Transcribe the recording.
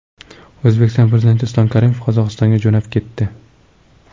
O‘zbekiston Prezidenti Islom Karimov Qozog‘istonga jo‘nab ketdi.